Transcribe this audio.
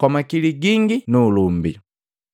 kwa makili gingi nu ulumbi.